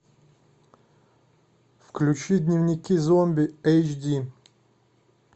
включи дневники зомби эйч ди